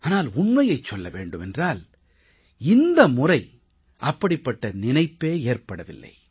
ஆனால் உண்மையைச் சொல்ல வேண்டும் என்றால் இந்த முறை அப்படிப்பட்ட நினைப்பே ஏற்படவில்லை